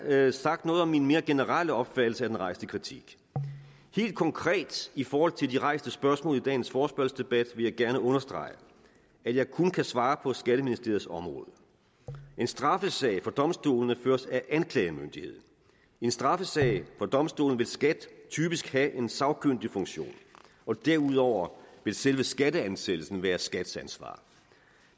jeg sagt noget om min mere generelle opfattelse af den rejste kritik helt konkret i forhold til de rejste spørgsmål i dagens forespørgselsdebat vil jeg gerne understrege at jeg kun kan svare på skatteministeriets område en straffesag for domstolene føres af anklagemyndigheden i en straffesag for domstolene vil skat typisk have en sagkyndigfunktion og derudover vil selve skatteansættelsen være skats ansvar